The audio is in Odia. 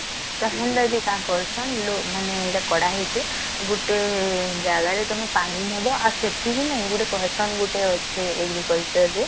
ତ ହେଲେ କାନ କରସନ ଲୋ ମାନେ କଡା ହେଇଛି ଗୋଟେ ଦଳ ରେ ତଆମେ ପାଣି ନବ ଆଉ ସେଥିରେ ନାଇଁ ଗୋଟେ କସନ ଗୋଟେ ଅଛି agriculture ରେ